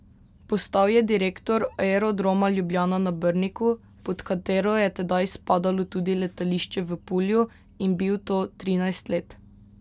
Postal je direktor Aerodroma Ljubljana na Brniku, pod katero je tedaj spadalo tudi letališče v Pulju, in bil to trinajst let.